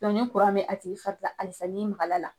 ni bɛ a tigi fari halisa n'i maga la